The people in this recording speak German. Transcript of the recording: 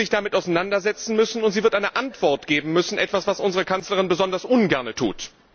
damit auseinandersetzen müssen, und sie wird eine Antwort geben müssen, etwas, was unsere Kanzlerin besonders ungerne tut.